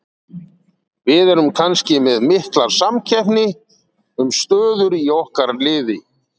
VIð erum kannski með mikla samkeppni um stöður í okkar liði.